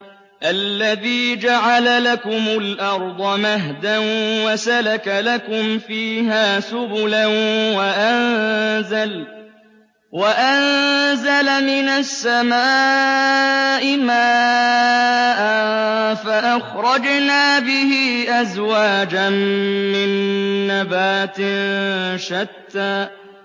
الَّذِي جَعَلَ لَكُمُ الْأَرْضَ مَهْدًا وَسَلَكَ لَكُمْ فِيهَا سُبُلًا وَأَنزَلَ مِنَ السَّمَاءِ مَاءً فَأَخْرَجْنَا بِهِ أَزْوَاجًا مِّن نَّبَاتٍ شَتَّىٰ